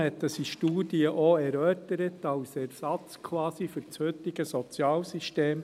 Man hat das in Studien auch erörtert, quasi als Ersatz für das heutige Sozialsystem.